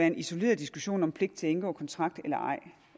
en isoleret diskussion om pligt til at indgå kontrakt eller ej